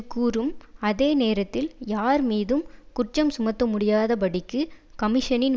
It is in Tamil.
கூறும் அதே நேரத்தில் யார் மீதும் குற்றம் சுமத்தமுடியாதபடிக்கு கமிஷனின்